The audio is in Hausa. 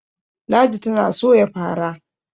ladi tana Soya fara